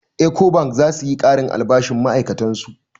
Ecobank za su yi ƙarin albashin ma'ai'katan su.